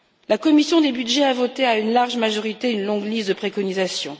La commission des budgets a voté à une large majorité une longue liste de préconisations.